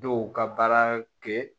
Dɔw ka baara kɛ